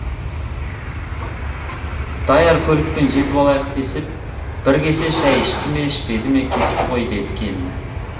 даяр көлікпен жетіп алайық десіп бір кесе шай ішті ме ішпеді ме кетті ғой деді келіні